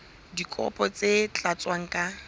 dikopo tse sa tlatswang ka